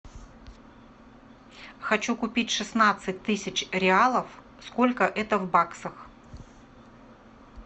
хочу купить шестнадцать тысяч реалов сколько это в баксах